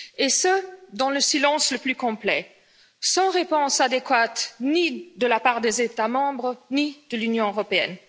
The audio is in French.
Et ce dans le silence le plus complet, sans réponse adéquate, ni de la part des États Membres ni de l'Union Européenne.